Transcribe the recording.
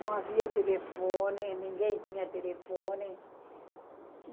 Não havia telefone, ninguém tinha telefone.